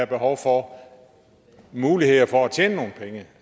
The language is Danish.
behov for muligheder for at tjene nogle penge